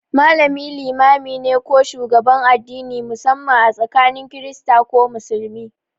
Malami limami ne ko shugaban addini, musamman a tsakanin Kirista ko Musulmi.